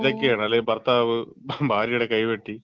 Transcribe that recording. ഇതൊക്കെയാണ് അല്ലെങ്കിൽ ഭർത്താവ് ഭാര്യയുടെ കൈവെട്ടി.